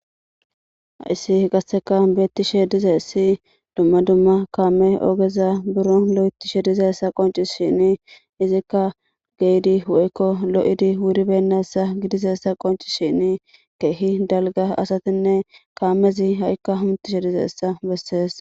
Hayssi qasseka beettishe dizayssi dumma dumma kaame ogeza buro lo'etishe dizayssa qoncisishini izikka geyidi woykko lo'idi wuribennayssa gidizayssa qoncishini keehi dalgga asatinne kaamezi ha'ikka hamutishe dizayssa bessees.